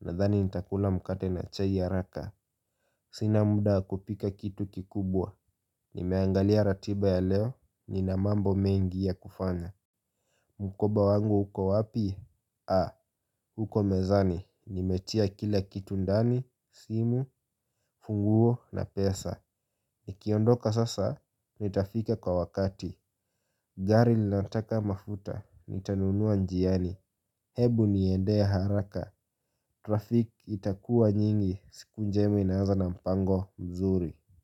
Nadhani nitakula mkate na chai haraka. Sina muda wa kupika kitu kikubwa. Nimeangalia ratiba ya leo, nina mambo mengi ya kufanya. Mkoba wangu huko wapi? Ah, uko mezani nimetia kila kitu ndani, simu, funguo na pesa. Nikiondoka sasa, nitafika kwa wakati. Gari linataka mafuta, nitanunua njiani, hebu niendee haraka, traffic itakuwa nyingi, siku njema inaaza na mpango mzuri.